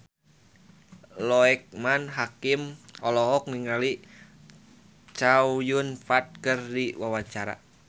Loekman Hakim olohok ningali Chow Yun Fat keur diwawancara